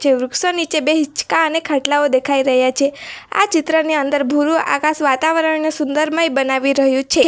જે વૃક્ષો નીચે બે હીંચકા અને ખાટલાઓ દેખાઈ રહયા છે આ ચિત્રની અંદર ભૂરું આકાશ વાતાવરણને સુંદરમય બનાવી રહ્યું છે.